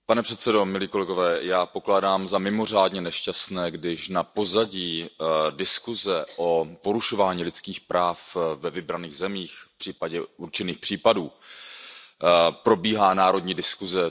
Pane předsedající, já pokládám za mimořádně nešťastné, když na pozadí diskuze o porušování lidských práv ve vybraných zemích, případně o určitých případech, probíhá národní diskuze.